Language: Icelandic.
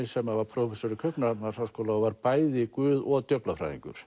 sem var prófessor í Kaupmannahafnarháskóla og var bæði guð og